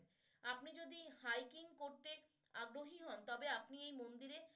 আপনি যদি hiking করতে আগ্রহী হন তবে আপনি এই মন্দিরে